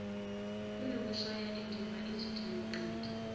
kunokushaya indiva izidingonqangi